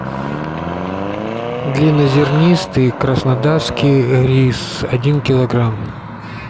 длиннозернистый краснодарский рис один килограмм